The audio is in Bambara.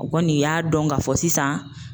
O kɔni y'a dɔn ka fɔ sisan.